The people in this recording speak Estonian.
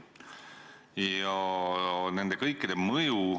Ja nendel kõikidel on mõju.